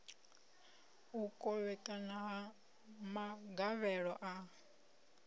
u kovhekana ha magavhelo a